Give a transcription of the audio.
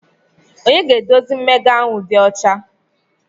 Onye ga-eduzi mmega ahụ ịdị ọcha?